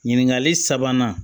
Ɲininkali sabanan